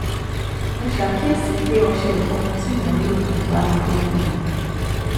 mo ṣàkíyèsí pé ọṣẹ ìfọnu tí mò ń lò kò báradé fún mi